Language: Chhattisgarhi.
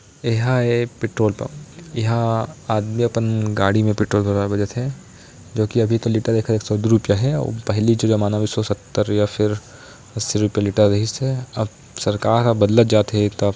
ए हा ए पेट्रोल पंप इंहा आदमी अपन गाड़ी में पेट्रोल भरवाय बर जाथे जो की अभी तो लीटर एक सौ दू रुपया हे पहली जो जमाना में एक सौ सत्तर या अस्सी रुपया रहिसे अब सरकार हा बदलत जाथे एक तो --